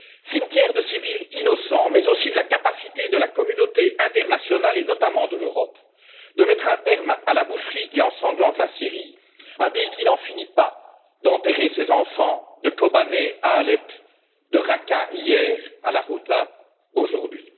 Cimetière de civils innocents, mais aussi de la capacité de la communauté internationale, et notamment de l'Europe, de mettre un terme à la boucherie qui ensanglante la Syrie, un pays qui n'en finit pas d'enterrer ses enfants, de Kobané à Alep, de Raqqa hier à la Ghouta aujourd'hui.